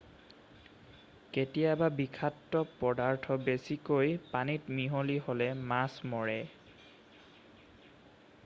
কেতিয়াবা বিষাক্ত পদাৰ্থ বেছিকৈ পানীত মিহলি হ'লে মাছ মৰে